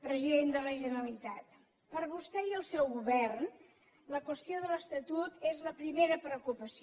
president de la generalitat per a vostè i el seu govern la qüestió de l’estatut és la primera preocupació